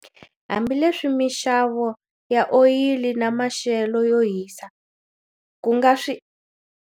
Hambileswi mixavo ya oyili na maxelo yo hisa ku nga swi.